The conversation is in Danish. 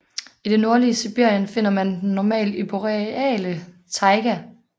I det nordlige Sibirien finder man den normalt i den boreale taiga